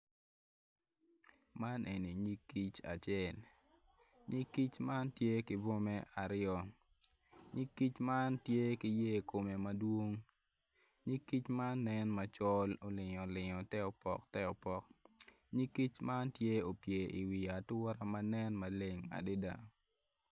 Man eni nyig kic acel nyig kic man tye ki bwome aryo. Nyig kic man tye ki yer kome madwong. Nyig kic man nen macol olingolingo teopok teopok nyig kic man tye opye i wi ature ma nen maleng adada.